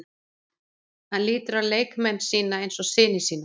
Hann lítur á leikmenn sína eins og syni sína.